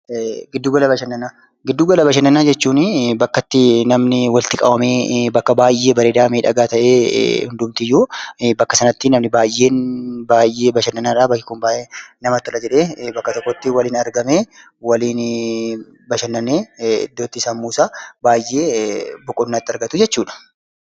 Giddu gala bashannanaa, giddu gala bashannanaa jechuuni bakka itti namni walitti qabamee bakka baayyee bareedaa, miidhagaa ta'ee hundumtiyyuu bakka sanatti namni baayyeen baayyee bashannanaadha. Bakki kun baayyee namatti tola jedhee bakka tokkotti waliin argamee waliinii bashannanee iddoo itti sammuusaa baayyee boqonnaa itti argatuu jechuudha.